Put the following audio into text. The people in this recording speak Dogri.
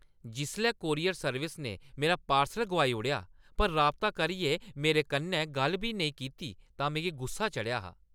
जिसलै कूरियर सेवा ने मेरा पार्सल गोआई ओड़ेआ पर राबता करियै मेरे कन्नै गल्ल बी नेईं कीती तां मिगी गुस्सा चढ़ेआ हा।